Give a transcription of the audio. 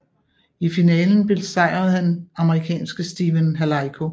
I finalen besejrede han amerikanske Stephen Halaiko